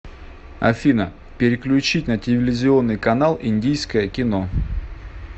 афина переключить на телевизионный канал индийское кино